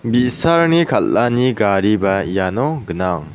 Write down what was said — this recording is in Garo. bi·sarangni kal·ani gariba iano gnang.